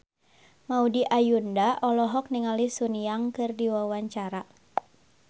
Maudy Ayunda olohok ningali Sun Yang keur diwawancara